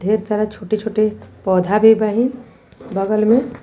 सारा छोटे छोटे पौधा भी बाहिन बगल में।